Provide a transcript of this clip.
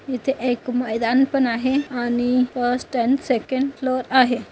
इथे एक मैदान पण आहे आणि फस्ट अँड सेकंड फ्लोर आहे.